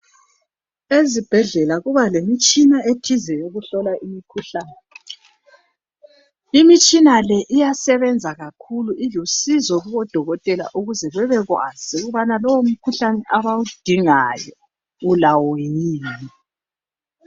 Ezibhedlela kuba lemitshina ethize eyokuhlola imikhuhlane, imitshina le iyasebenza kakhulu ilusizo kubodokotela ukuze bebekwazi ukuthi lowo mkhuhlane abawudingayo ulawo yin.